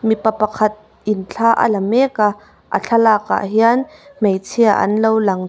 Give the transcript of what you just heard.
mipa pakhatin thla a la mek a a thlalakah hian hmeichhia an lo lang --